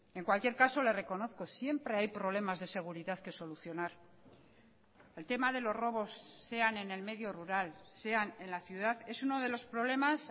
en cualquier caso le reconozco siempre hay problemas de seguridad que solucionar el tema de los robos sean en el medio rural sean en la ciudad es uno de los problemas